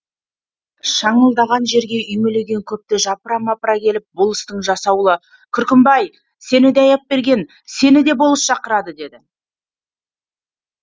шаңылдаған жерге үймелеген көпті жапыра мапыра келіп болыстың жасауылы күркімбай сені де аяпберген сені де болыс шақырады деді